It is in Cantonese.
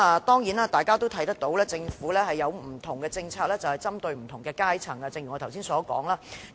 當然大家見到，正如我剛才所說，針對不同的階層，政府設有不同的政策。